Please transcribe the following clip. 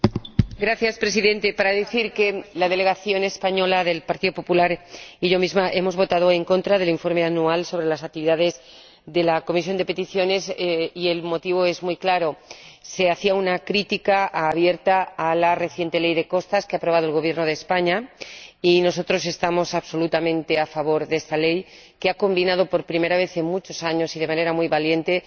Señor Presidente, la delegación española del Partido Popular y yo misma hemos votado en contra del Informe anual de las actividades de la Comisión de Peticiones, y el motivo es muy claro se hacía una crítica abierta a la reciente Ley de Costas que ha aprobado el Gobierno de España, mientras que nosotros estamos absolutamente a favor de esta ley que ha combinado, por primera vez en muchos años y de manera muy valiente,